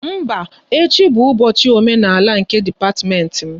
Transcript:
Mba, echi bụ ụbọchị omenala nke dipatiment m